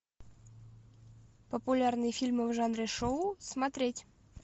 популярные фильмы в жанре шоу смотреть